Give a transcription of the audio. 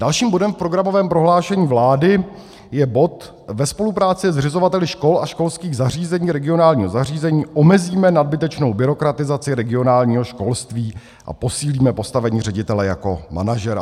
Dalším bodem v programovém prohlášení vlády je bod: ve spolupráci se zřizovateli škol a školských zařízení regionálního zařízení omezíme nadbytečnou byrokratizaci regionálního školství a posílíme postavení ředitele jako manažera.